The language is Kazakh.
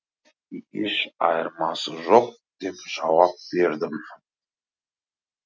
еш айырмасы жоқ деп жауап бердім